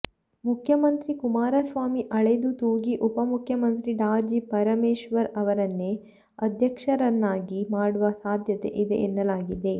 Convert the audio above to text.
ಮುಖ್ಯಮಂತ್ರಿ ಕುಮರಸ್ವಾಮಿ ಅಳೆದೂ ತೂಗಿ ಉಪ ಮುಖ್ಯಮಂತ್ರಿ ಡಾ ಜಿ ಪರಮೇಶ್ವರ್ ಅವರನ್ನೆ ಅಧ್ಯಕ್ಷರನ್ನಾಗಿ ಮಾಡುವ ಸಾಧ್ಯತೆ ಇದೆ ಎನ್ನಲಾಗಿದೆ